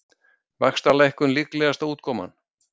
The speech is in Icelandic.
Vaxtalækkun líklegasta útkoman